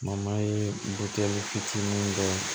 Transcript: fitinin dɔn